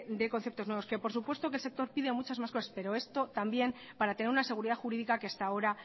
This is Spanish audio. de conceptos nuevos que por supuesto que el sector pide muchas más cosas pero esto también para tener una seguridad jurídica que hasta ahora